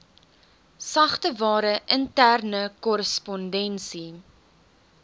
sagteware interne korrespondensie